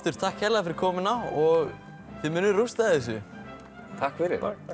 takk kærlega fyrir komuna og þið munuð rústa þessu takk fyrir